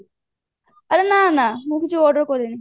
ଆରେ ନା ନା ମୁଁ କିଛି order କରେନି